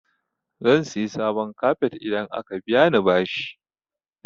Zan siya sabon kafet idan aka biya ni bashi.